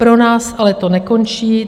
Pro nás ale to nekončí.